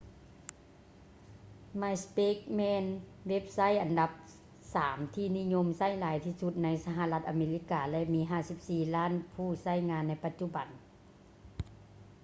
myspace ແມ່ນເວັບໄຊທ໌ອັນດັບສາມທີ່ນິຍົມໃຊ້ຫຼາຍທີ່ສຸດໃນສະຫະລັດອາເມລິກາ ແລະ ມີ 54 ລ້ານຜູ້ໃຊ້ງານໃນປັດຈຸບັນ